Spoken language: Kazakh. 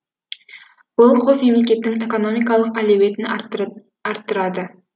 бұл қос мемлекеттің экономикалық әлеуметін арттырады